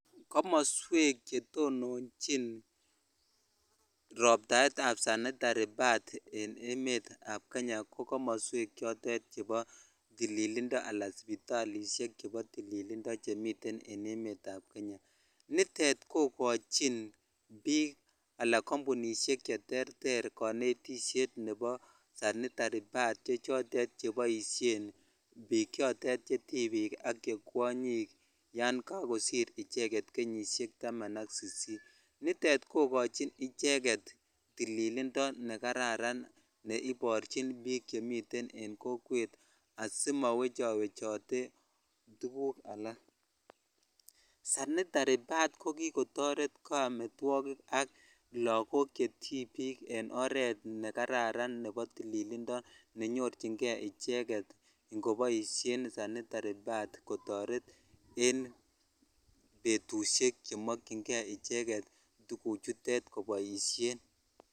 Komoswek chetononchin robtaetab sanitary pads en emetab Kenya ko komoswek chotet chebo tililindo alaa sipitalishek chebo tililindo chemiten en emetab kenya, nitet ko kochin biik alaa kombunishek cheterter konetisiet nebo sanitary pads che chotet cheboishen biik chotet chetibik ak che kwonyik yoon kokosir icheket kenyishek taman ak sisit, niton kokochin icheket tililindo nekararan neikochin biik chemiten en kokwet asimowechowechote tukuk alak, sanitary pads ko kikotoret kometwokik ak lokok chetibik en oreet nekararan nebo tililindo nenyorching'e icheket ng'oboishen icheket sanitary pads kotoret en betushek chemokying'e icheket koboishen.